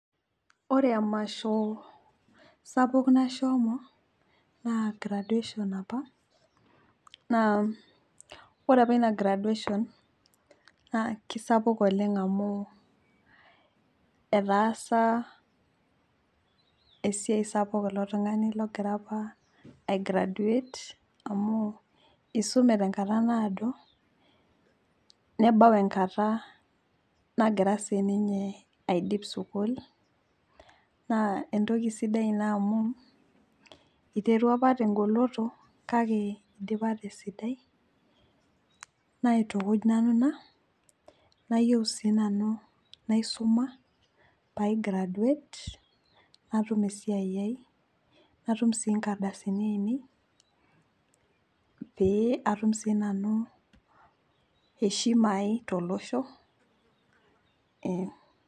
Ore emasho sapuk nashomo naa graduation apa naa ore apa inagraduation naa kisapuk oleng amu etaasa esiai sapuk ilo tungani logira apa aigraduate amu isume tenkata naado nebau enkata nagira sininye aidip sukuul naa entoki sidai ina iterua apa tegoloto kake idipa tesidai , naitukuj nanu ina, nayieu sinanu naisuma paigraduate natum esiai ai natum sii nkardasini ainei pe atum sinanu heshima ai tolosho ,ee